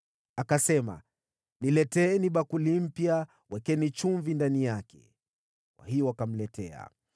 Akasema, “Nileteeni bakuli mpya, mweke chumvi ndani yake.” Kwa hiyo wakamletea.